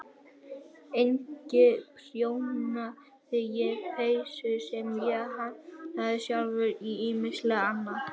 Einnig prjónaði ég peysur sem ég hannaði sjálf og ýmislegt annað.